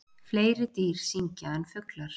Fleiri dýr syngja en fuglar.